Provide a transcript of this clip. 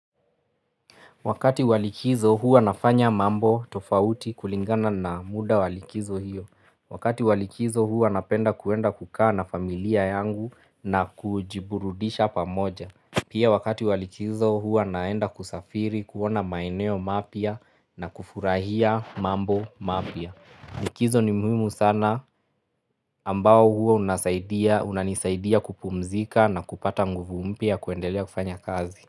Wakati wa likizo huwa nafanya mambo tofauti kulingana na muda wa likizo hiyo. Wakati wa likizo huwa napenda kuenda kukaa na familia yangu na kujiburudisha pamoja. Pia wakati wa likizo huwa naenda kusafiri, kuona maeneo mapya na kufurahia mambo mapya. Likizo ni muhimu sana ambao huwa unasaidia unanisaidia kupumzika na kupata nguvu mpya ya kuendelea kufanya kazi.